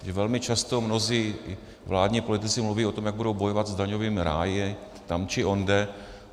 Velmi často mnozí vládní politici mluví o tom, jak budou bojovat s daňovými ráji tam či onde.